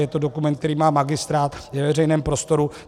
Je to dokument, který má magistrát, je ve veřejném prostoru.